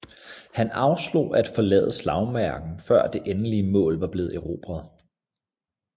Han afslog at forlade slagmarken før det endelige mål var blevet erobret